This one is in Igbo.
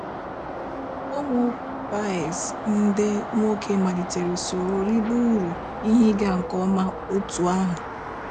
Ụmụ Páez ndị nwoke malite soro ribe ụrụ ihe ịga nke ọma otú ahụ